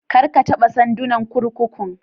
Kar a taɓa sandunan kurkukun